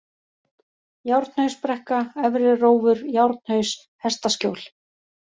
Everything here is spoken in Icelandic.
Járnhausbrekka, Efri-Rófur, Járnhaus, Hestaskjól